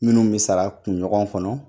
Minnu bɛ sara kunɲɔgɔn kɔnɔ